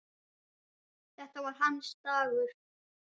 Þetta var hans dagur.